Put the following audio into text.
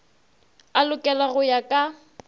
a lokelwa go ya ka